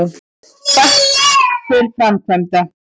Hvatt til framkvæmda